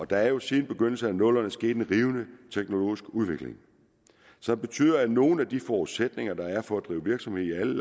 der er jo siden begyndelsen af nullerne sket en rivende teknologisk udvikling som betyder at nogle af de forudsætninger der er for at drive virksomhed i alle